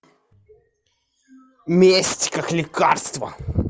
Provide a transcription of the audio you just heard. месть как лекарство